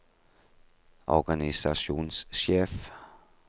organisasjonssjef